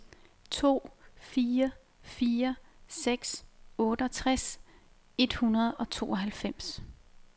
to fire fire seks otteogtres et hundrede og tooghalvfems